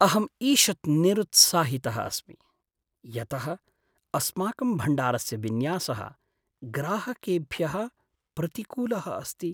अहम् ईषत् निरुत्साहितः अस्मि यतः अस्माकं भण्डारस्य विन्यासः ग्राहकेभ्यः प्रतिकूलः अस्ति।